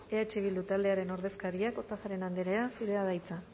eh bildu taldearen ordezkaria kortajarena anderea zurea da hitza